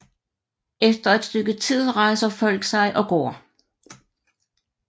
Efter et stykke tid rejser folk sig og går